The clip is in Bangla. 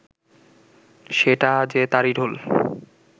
সেটা যে তারই ঢোল